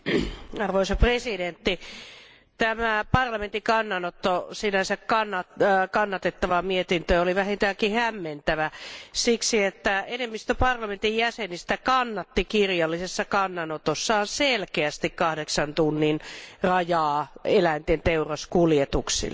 Arvoisa puhemies, tämä parlamentin kannanotto sinänsä kannatettavaan mietintöön oli vähintäänkin hämmentävä siksi, että enemmistö parlamentin jäsenistä kannatti kirjallisessa kannanotossaan selkeästi kahdeksan tunnin rajaa eläinten teuraskuljetuksille.